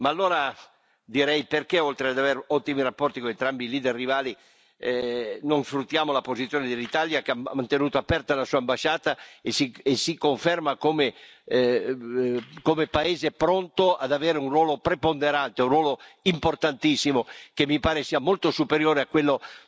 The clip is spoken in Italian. Ma allora direi perché oltre ad avere ottimi rapporti con entrambi i leader rivali non sfruttiamo la posizione dell'Italia, che ha mantenuto aperta la sua ambasciata e si conferma come paese pronto ad avere un ruolo preponderante, un ruolo importantissimo che mi pare sia molto superiore a quello